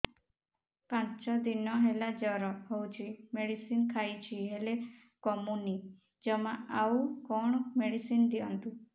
ପାଞ୍ଚ ଦିନ ହେଲା ଜର ହଉଛି ମେଡିସିନ ଖାଇଛି ହେଲେ କମୁନି ଜମା ଆଉ କଣ ମେଡ଼ିସିନ ଦିଅନ୍ତୁ